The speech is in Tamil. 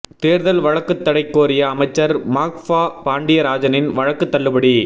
தேர்தல் வழக்குக்கு தடை கோரிய அமைச்சர் மாஃபா பாண்டியராஜனின் வழக்கு தள்ளுபடி